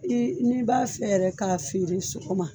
N'i b'a fɛ yɛrɛ k'a feere sɔgɔma